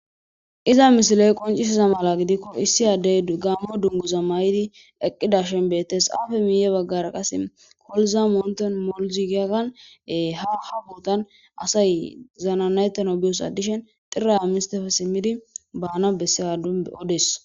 Iza misiley qoncisiza mala gidikko issi addey gaammo dunguza may7idi eqqidashen bettes aafe miiye baggara qase koluza moonten molzigiakanee haha buotan asay zananayettano biyos addishen xirra mistefe simidi baana bessea d odes